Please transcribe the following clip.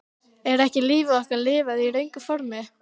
Er ekki lífi okkar lifað í röngu formi?